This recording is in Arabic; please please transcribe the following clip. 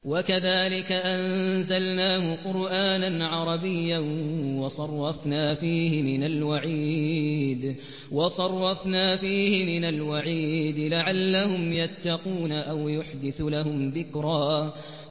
وَكَذَٰلِكَ أَنزَلْنَاهُ قُرْآنًا عَرَبِيًّا وَصَرَّفْنَا فِيهِ مِنَ الْوَعِيدِ لَعَلَّهُمْ يَتَّقُونَ أَوْ يُحْدِثُ لَهُمْ ذِكْرًا